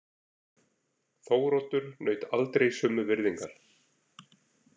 Þóroddur naut aldrei sömu virðingar.